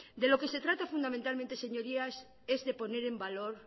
de lo que se trata fundamentalmente señorías es de poner en valor